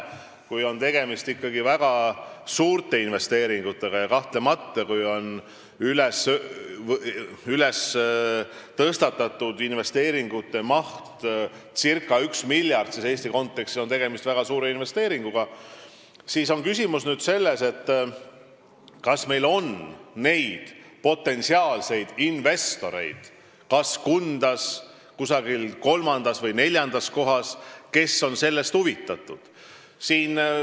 Kui on tegemist ikkagi väga suurte investeeringutega – ja kahtlemata, kui tõstatatud investeeringumaht on circa üks miljard, siis Eesti kontekstis on tegemist väga suure investeeringuga –, siis on küsimus selles, kas meil on potentsiaalseid investoreid Kundas, kusagil teises, kolmandas või neljandas kohas, ning kes on sellest huvitatud.